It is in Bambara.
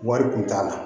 Wari kun t'a la